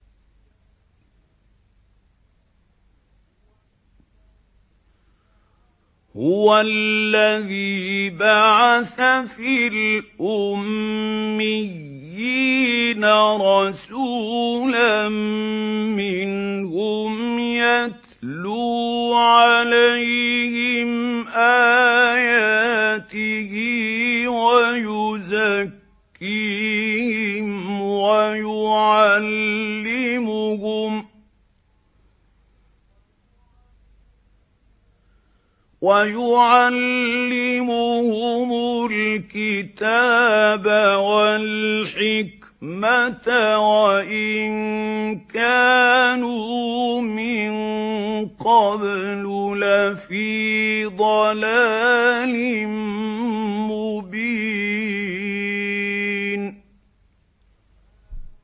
هُوَ الَّذِي بَعَثَ فِي الْأُمِّيِّينَ رَسُولًا مِّنْهُمْ يَتْلُو عَلَيْهِمْ آيَاتِهِ وَيُزَكِّيهِمْ وَيُعَلِّمُهُمُ الْكِتَابَ وَالْحِكْمَةَ وَإِن كَانُوا مِن قَبْلُ لَفِي ضَلَالٍ مُّبِينٍ